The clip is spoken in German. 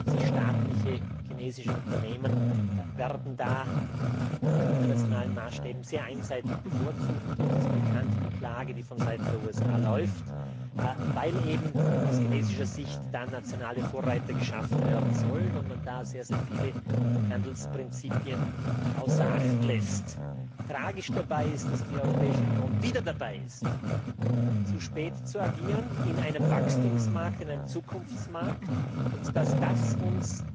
40 staatliche chinesische Unternehmen werden da nach internationalen Maßstäben sehr einseitig bevorzugt uns ist die Klage, die vonseiten der USA läuft, bekannt weil eben aus chinesischer Sicht nationale Vorreiter geschaffen werden sollen und man da sehr viele Handelsprinzipien außer Acht lässt. Tragisch dabei ist, dass die Europäische Union wieder dabei ist, in einem Wachstumsmarkt, einem Zukunftsmarkt zu spät zu agieren, und dass uns